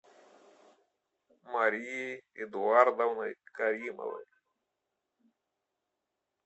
марией эдуардовной каримовой